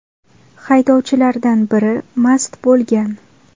Haydovchilardan biri mast bo‘lgan.